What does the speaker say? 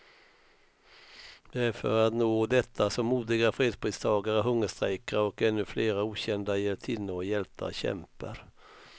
Det är för att nå detta som modiga fredspristagare hungerstrejkar, och ännu flera okända hjältinnor och hjältar kämpar.